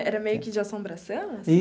Era meio que de assombração?